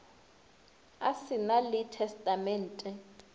a se na le testamente